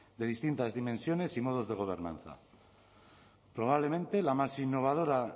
de distintas dimensiones y modos de gobernanza probablemente la más innovadora